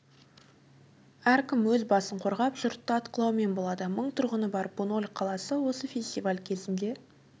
әркім өз басын қорғап жұртты атқылаумен болады мың тұрғыны бар буньоль қаласына осы фестиваль кезінде